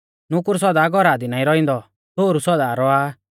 नुकुर सौदा घौरा दी नाईं रौइंदौ छ़ोहरु सौदा रौआ आ